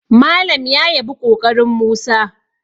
Malam ya yabi ƙoƙarin Musa